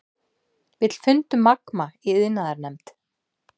Vill fund um Magma í iðnaðarnefnd